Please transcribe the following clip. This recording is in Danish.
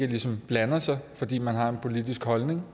ligesom blander sig fordi man har en politisk holdning